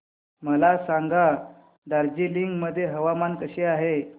मला सांगा दार्जिलिंग मध्ये हवामान कसे आहे